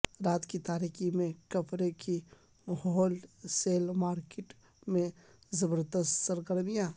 رات کی تاریکی میں کپڑے کی ہول سیل مارکٹ میں زبردست سرگرمیاں